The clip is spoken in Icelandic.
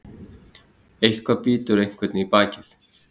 Eitthvað bítur einhvern í bakið